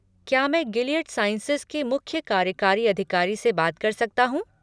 क्या मैं Gilead sciences के मुख्य कार्यकारी अधिकारी से बात कर सकता हूँ?